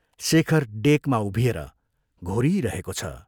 शेखर डेकमा उभिएर घोरिइरहेको छ।